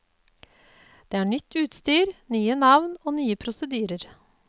Det er nytt utstyr, nye navn og nye prosedyrer.